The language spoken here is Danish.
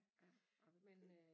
Ja ej men det